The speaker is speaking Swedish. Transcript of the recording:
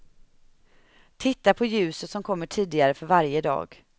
Titta på ljuset som kommer tidigare för varje dag.